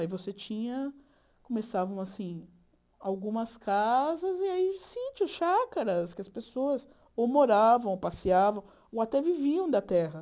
Aí você tinha... começavam, assim, algumas casas e aí síntios, chácaras, que as pessoas ou moravam, ou passeavam, ou até viviam da terra.